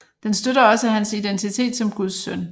Den støtter også hans identitet som Guds søn